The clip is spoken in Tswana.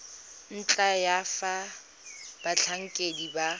ntlha ya fa batlhankedi ba